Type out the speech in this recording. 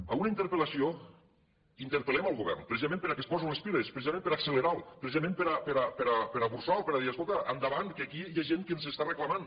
en una interpel·lació interpel·lem el govern precisament perquè es posi les piles precisament per a accelerar lo precisament per a burxar lo per a dir escolta endavant que aquí hi ha gent que ens està reclamant